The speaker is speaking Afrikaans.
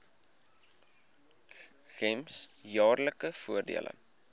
gems jaarlikse voordele